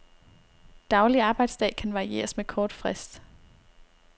Daglig arbejdsdag kan varieres med kort frist.